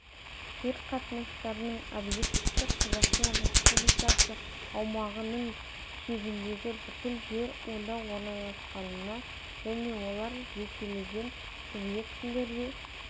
жер қатынастарының объектісі қазақстан республикасы аумағының шегіндегі бүкіл жер онда орналасқанына және олардың жекелеген субъектілерге